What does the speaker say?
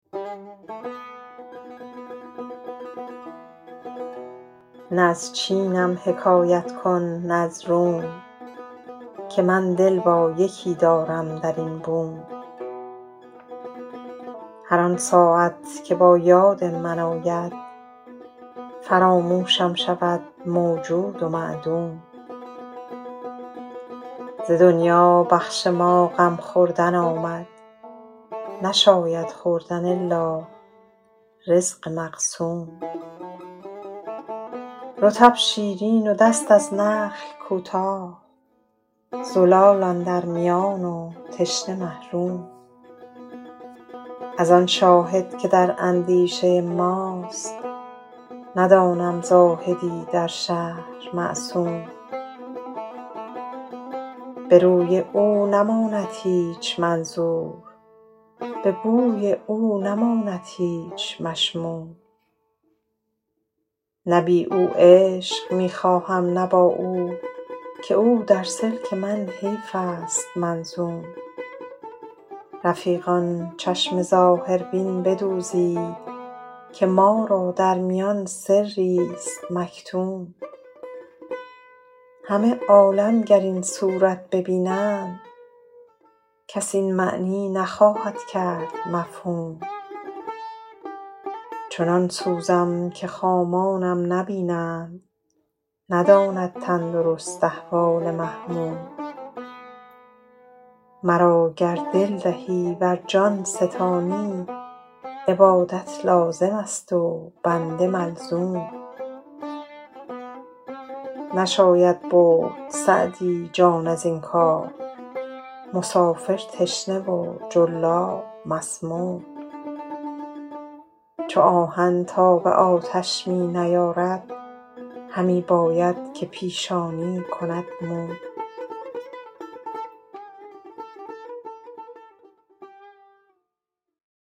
نه از چینم حکایت کن نه از روم که من دل با یکی دارم در این بوم هر آن ساعت که با یاد من آید فراموشم شود موجود و معدوم ز دنیا بخش ما غم خوردن آمد نشاید خوردن الا رزق مقسوم رطب شیرین و دست از نخل کوتاه زلال اندر میان و تشنه محروم از آن شاهد که در اندیشه ماست ندانم زاهدی در شهر معصوم به روی او نماند هیچ منظور به بوی او نماند هیچ مشموم نه بی او عیش می خواهم نه با او که او در سلک من حیف است منظوم رفیقان چشم ظاهربین بدوزید که ما را در میان سریست مکتوم همه عالم گر این صورت ببینند کس این معنی نخواهد کرد مفهوم چنان سوزم که خامانم نبینند نداند تندرست احوال محموم مرا گر دل دهی ور جان ستانی عبادت لازم است و بنده ملزوم نشاید برد سعدی جان از این کار مسافر تشنه و جلاب مسموم چو آهن تاب آتش می نیارد همی باید که پیشانی کند موم